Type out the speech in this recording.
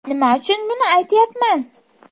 Nima uchun buni aytyapman?